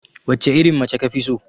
Wacce irin mace kafi so?